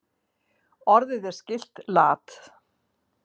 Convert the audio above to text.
Orðið er skylt lat.